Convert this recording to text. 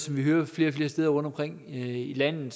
vi hører flere og flere steder rundtomkring i landet